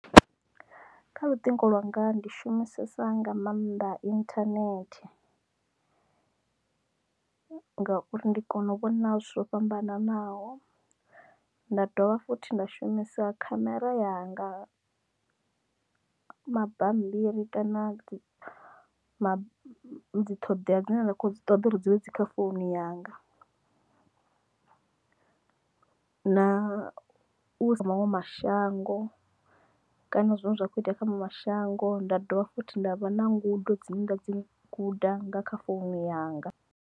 Kha luṱingo lwanga ndi shumisesa nga maanḓa internet ngauri ndi kona u vhona zwithu zwo fhambananaho nda dovha futhi nda shumisa khamera yanga, mabambiri kana dzi dzi ṱhoḓea dzine nda kho ṱoḓa uri dzi vhe dzi kha founu yanga na u sa maṅwe mashango kana zwine zwa kho itea kha mashango nda dovha fhuthi nda vha na ngudo dzine nda dzi guda nga kha founu yanga.